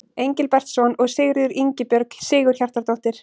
Engilbertsson og Sigríður Ingibjörg Sigurhjartardóttir.